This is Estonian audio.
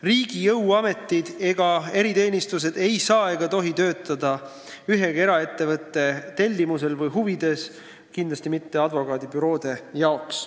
Riigi jõuametid ja eriteenistused ei tohi saada töötada ühegi eraettevõtte tellimusel või huvides, kindlasti ka mitte advokaadibüroode huvides.